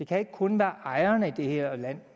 kan ikke kun være ejerne i det her land